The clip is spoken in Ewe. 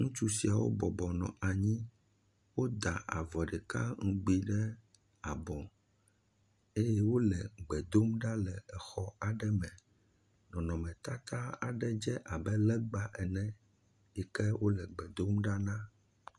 ŋutsu siawo bɔbɔnɔ anyi wóda avɔ ɖeka ŋgbi ɖe abɔ eye wóle egbe dom ɖa le exɔ aɖe me nɔnɔme tata ɖe dze abe legba ene yike wóle gbe dom ɖa na